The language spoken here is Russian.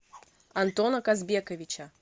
антона казбековича